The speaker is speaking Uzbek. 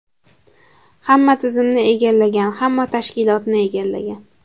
Hamma tizimni egallagan, hamma tashkilotni egallagan.